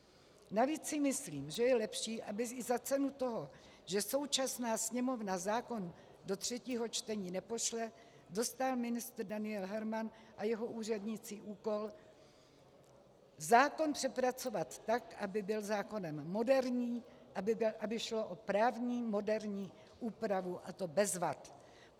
Navíc si myslím, že je lepší, aby i za cenu toho, že současná Sněmovna zákon do třetího čtení nepošle, dostal ministr Daniel Herman a jeho úředníci úkol zákon přepracovat tak, aby byl zákonem moderním, aby šlo o právní moderní úpravu, a to bez vad.